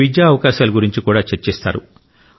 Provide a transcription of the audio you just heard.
విద్యా అవకాశాల గురించి కూడా చర్చిస్తారు